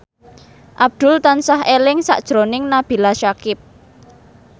Abdul tansah eling sakjroning Nabila Syakieb